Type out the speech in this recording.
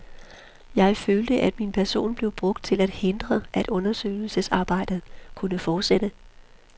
Jeg følte, at min person blev brugt til at hindre, at undersøgelsesarbejdet kunne fortsætte.